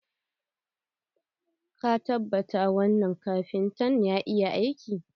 Ka tabbata wanna kafinta ya iya aiki?